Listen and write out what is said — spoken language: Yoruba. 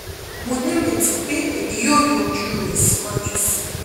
mo ni ireti pe emi yoo yanju rẹ siwaju sii